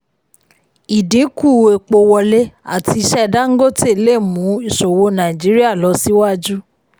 ìdínkù epo wọlé àti iṣẹ́ dangote lè mu ìṣòwò nàìjíríà lọ síwájú.